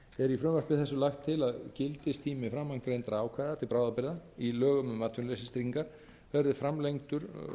í frumvarpi þessu lagt til að gildistími framangreindra ákvæða til bráðabirgða í lögum um atvinnuleysistryggingar verði framlengdur